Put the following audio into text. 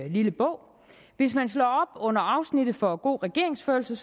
lille bog og under afsnittet for god regeringsførelse